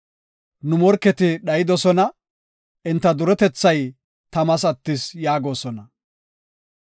‘Nu morketi dhayidosona; enta duretethay tamas attis’ yaagosona.